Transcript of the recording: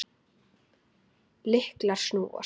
Lyklar snúast.